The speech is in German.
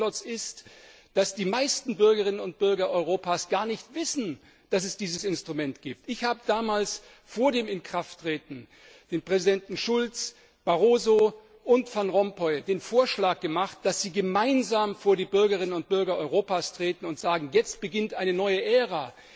Der erste Klotz ist, dass die meisten Bürgerinnen und Bürger Europas gar nicht wissen, dass es dieses Instrument gibt. Ich habe damals vor dem Inkrafttreten den Präsidenten Schulz, Barroso und Van Rompuy den Vorschlag gemacht, dass sie gemeinsam vor die Bürgerinnen und Bürger Europas treten und sagen Jetzt beginnt eine neue Ära!